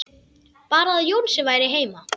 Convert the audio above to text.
Bara að Jónsi væri heima.